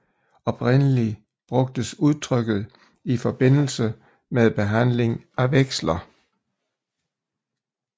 Oprindelig brugtes udtrykket i forbindelse med behandling af veksler